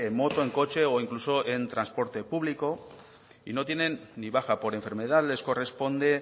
moto en coche o incluso en transporte público y no tienen ni baja por enfermedad les corresponde